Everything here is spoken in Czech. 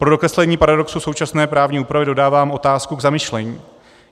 Pro dokreslení paradoxu současné právní úpravy dodávám otázku k zamyšlení.